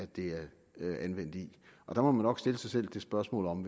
det anvendt i der må man nok stille sig selv det spørgsmål om